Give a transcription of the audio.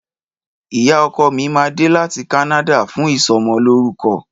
Ìyá ọkọ̀ mi mà dẹ làtí kànàdà fún ìsọ mọ lòrúkọ